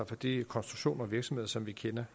fra de konstruktioner af virksomheder som vi kender